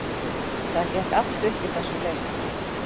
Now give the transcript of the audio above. Það gekk allt upp í þessum leik.